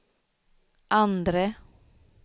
andre